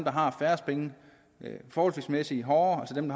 har færrest penge forholdsmæssigt hårdere dem